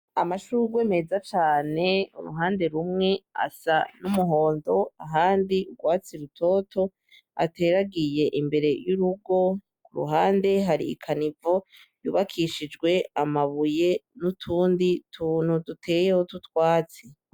Amashugwe meza cane uruhande rumwe asa n' umuhondo ahandi ugwatsi rutoto ateragiye imbere y' urugo iruhande hari ikanivo yubakishijwe amabuye n' utundi tuntu duteyeho tw'utwatsi.